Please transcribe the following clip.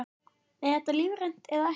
Er þetta lífrænt eða ekki?